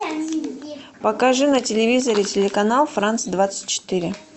покажи на телевизоре телеканал франц двадцать четыре